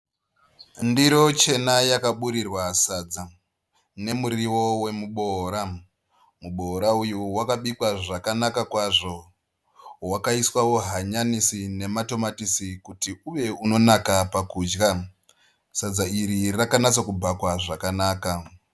Ndiro chena yakaburigwa sadza nemurivo wemuboora, muboora uyu wakabikwa zvakanaka kwazvo wakaiswawo hanyanisi nematomatisi kuti uve unonaka pakudya. Sadza iri rakanyatsobhakwa zvakanaka.